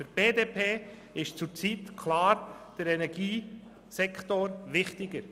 Für die BDP ist der Energiesektor klar wichtiger.